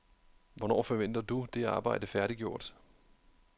Hvornår forventer du det arbejde færdiggjort?